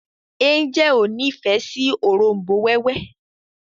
Angel o ní ìfẹ si òrombó wewe